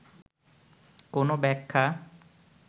কোন ব্যাখ্যা